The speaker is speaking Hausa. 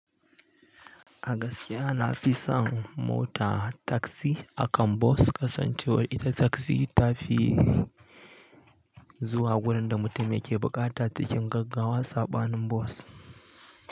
A gaskiya na fi son mota taksi akan bos, kasancewar ita taksi ta fi zuwa gurin da mutum yake buƙata cikin gaggawa cikin boss.